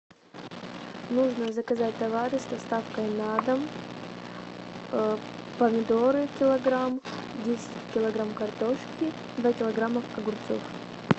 нужно заказать товары с доставкой на дом помидоры килограмм десять килограмм картошки два килограмма огурцов